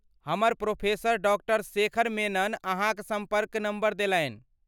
हमर प्रोफेसर डॉ शेखर मेनन अहाँक सम्पर्क नम्बर देलनि।